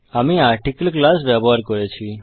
আমি article class ব্যবহার করেছি